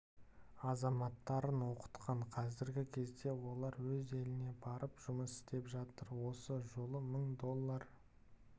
азаматтарын оқытқан қазіргі кезде олар өз еліне барып жұмыс істеп жатыр осы жолы мың доллар